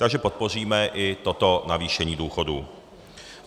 Takže podpoříme i toto navýšení důchodů.